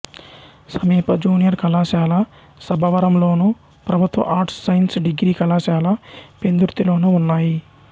సమీప జూనియర్ కళాశాల సబ్బవరంలోను ప్రభుత్వ ఆర్ట్స్ సైన్స్ డిగ్రీ కళాశాల పెందుర్తిలోనూ ఉన్నాయి